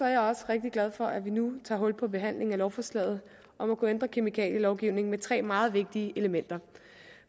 jeg også rigtig glad for at vi nu tager hul på behandlingen af lovforslaget om at kunne ændre kemikalielovgivningen med tre meget vigtige elementer